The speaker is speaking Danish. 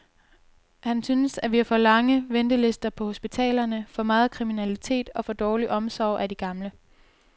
Han synes, at vi har for lange ventelister på hospitalerne, for meget kriminalitetog for dårlig omsorg af de gamle.